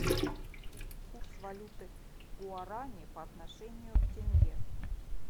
курс валюты гуарани по отношению к тенге